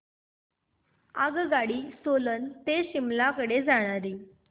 आगगाडी सोलन ते शिमला कडे जाणारी